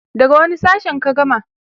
daga wani sashen ka gama?